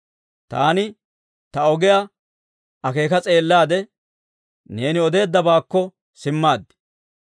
Taani ta ogiyaa akeeka s'eellaade, neeni odeeddabaakko simmaad.